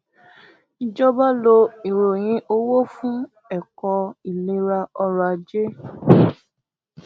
ìjọba lo ìròyìn owó fún ẹkọ ìlera ọrọajé